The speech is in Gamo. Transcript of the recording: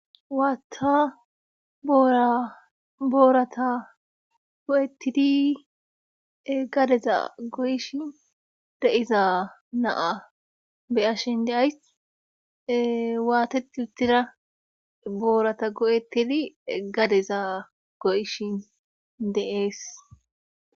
Waatta boora boorata go,etidi gadeza goyshin de7iza naa beyashin deays waatet utira boorata go7etili gadeza goyishin deees.